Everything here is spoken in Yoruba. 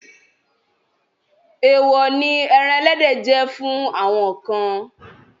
Èèwọ̀ ni ẹran ẹlẹ́dẹ̀ jẹ́ fún àwọn kan.